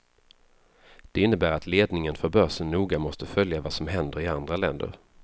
Det innebär att ledningen för börsen noga måste följa vad som händer i andra länder.